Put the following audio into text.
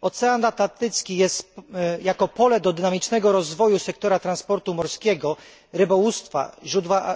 Ocean Atlantycki jako pole do dynamicznego rozwoju sektora transportu morskiego, rybołówstwa,